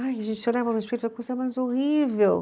Ai, gente, mais horrível.